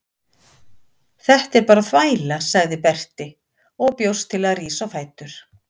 Þetta er bara þvæla, sagði Berti og bjóst til að rísa á fætur.